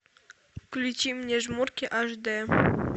включи мне жмурки аш д